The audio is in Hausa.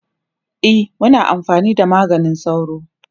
e Muna amfani da maganin sauro